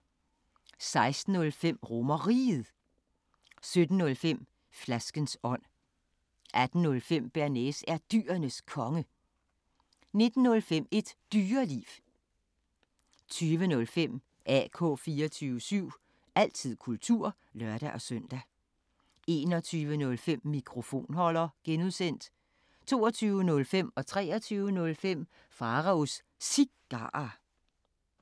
16:05: RomerRiget 17:05: Flaskens ånd 18:05: Bearnaise er Dyrenes Konge 19:05: Et Dyreliv 20:05: AK 24syv – altid kultur (lør-søn) 21:05: Mikrofonholder (G) 22:05: Pharaos Cigarer 23:05: Pharaos Cigarer